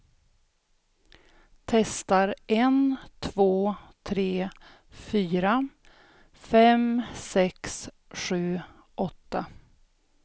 Testar en två tre fyra fem sex sju åtta.